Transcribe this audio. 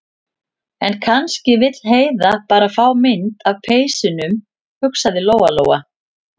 En kannski vill Heiða bara fá mynd af peysunum, hugsaði Lóa- Lóa.